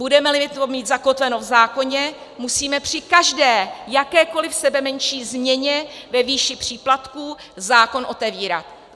Budeme-li to mít zakotveno v zákoně, musíme při každé, jakékoli sebemenší změně ve výši příplatků zákon otevírat.